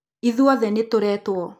ithuothe nĩtũretũo.